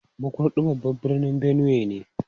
Makurdi babban birnin Benue ne.